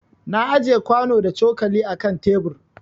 Na ajiƴe kwano da cokali a ƙan tebur.